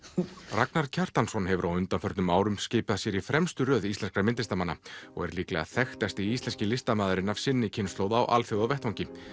Ragnar Kjartansson hefur á undanförnum þrettán árum skipað sér í fremstu röð íslenskra myndlistarmanna og er líklega þekktasti íslenski listamaðurinn af sinni kynslóð á alþjóðavettvangi